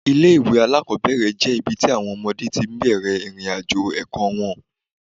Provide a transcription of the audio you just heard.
Ilé-ìwé alákọ́bẹ̀rẹ̀ jẹ́ ibi tí àwọn ọmọdé ti bẹ̀rẹ̀ ìrìnàjò ẹ̀kọ́ wọn